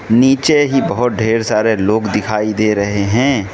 नीचे ही बहोत ढेर सारे लोग दिखाई दे रहे हैं।